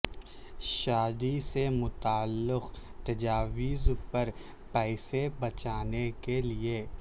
شادی سے متعلق تجاویز پر پیسے بچانے کے لئے